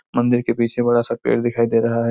मंदिर के पीछे बड़ा सा पेड़ दिखाई दे रहा हैं--